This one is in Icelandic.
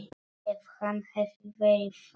Ef hann hefði verið þannig.